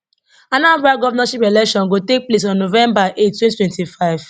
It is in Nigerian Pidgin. anambra govnorship election go take place on november eight twenty twenty five